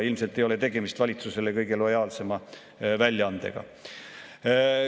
Ilmselt ei ole tegemist valitsusele kõige lojaalsema väljaandega.